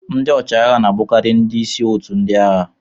Ndị ọchịagha na-abụkarị ndị isi otu ndị agha